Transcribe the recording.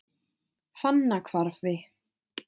Fannahvarfi